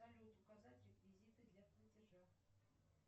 салют указать реквизиты для платежа